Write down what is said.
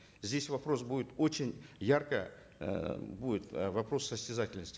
здесь вопрос будет очень ярко эээ будет э вопрос состязательности